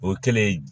O kɛlen